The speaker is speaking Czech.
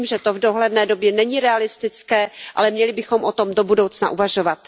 Vím, že to v dohledné době není realistické, ale měli bychom o tom do budoucna uvažovat.